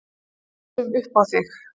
Við pössum upp á þig